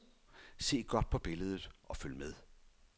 Se godt på billedet og følg med.